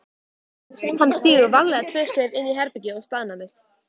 Hann stígur varlega tvö skref inn í herbergið og staðnæmist.